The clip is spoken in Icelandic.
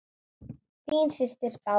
Þín systir, Bára.